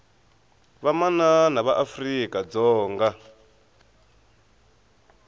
vamanana va afrika dzonga